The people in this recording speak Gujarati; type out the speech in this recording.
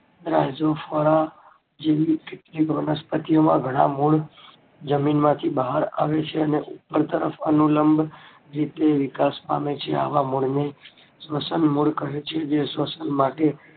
જેવી કેટલીય વનસ્પતિ ઓમાં ઘણાં મૂળ જમીન માંથી બહાર આવે છે અને ઉપર તરફ અનુલંબ જે વિકાસ પામે છે આવા મૂળ ને શ્વસન મૂળ કહે છે જે શ્વસન માટે